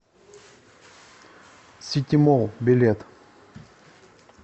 ситимолл билет